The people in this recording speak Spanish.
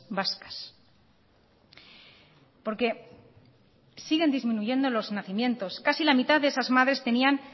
vascas porque siguen disminuyendo los nacimientos casi la mitad de esas madres tenían